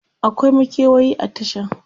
akwai makewayi a Tashan?